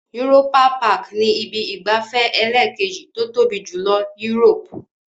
Europa-Park ni ibi ìgbafẹ́ ẹlẹ́ẹ̀kejì tó tóbi jùlọ Europe.